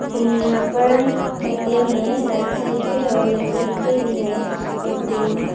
यहां पर ए_टी_एम है राइट साइड पे और लेफ्ट साइड पे भी है ए_टी_एम ।